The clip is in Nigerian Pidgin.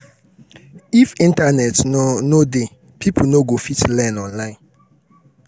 if internet no no dey people no go fit learn online